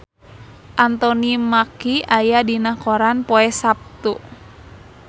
Anthony Mackie aya dina koran poe Saptu